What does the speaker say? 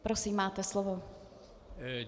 Prosím, máte slovo.